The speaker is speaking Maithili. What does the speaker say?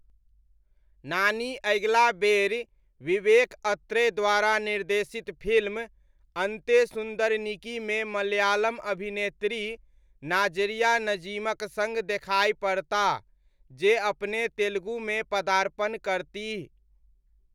नानी अगिला बेरि विवेक अत्रेय द्वारा निर्देशित फिल्म 'अन्ते सुन्दरनिकी'मे मलयालम अभिनेत्री नाज़रिया नज़ीमक सङ्ग देखाइ पड़ताह, जे अपने तेलुगुमे पदार्पण करतीह।